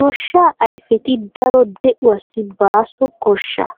Gooshshaa ayfetti daro deuwaasi baaso qoshshaa.